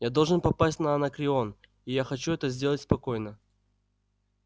я должен попасть на анакреон и я хочу это сделать спокойно